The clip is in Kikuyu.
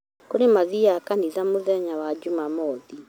kũri mathiaga kanĩtha mũthenya wa jumamothi